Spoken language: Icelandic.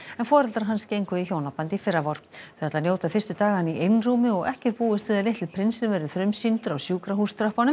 en foreldrar hans gengu í hjónaband í fyrravor þau ætla að njóta fyrstu daganna í einrúmi og ekki er búist við að litli prinsinn verði frumsýndur á